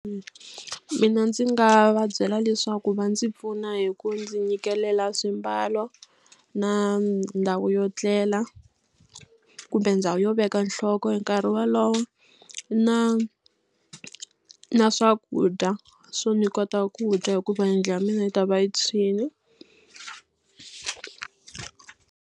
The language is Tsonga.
Mina ndzi nga va byela leswaku va ndzi pfuna hi ku ndzi nyikela swimbalo na ndhawu yo tlela kumbe ndhawu yo veka nhloko hi nkarhi wolowo na na swakudya swo ni kota ku dya hikuva yindlu ya mina yi ta va yi tshwini.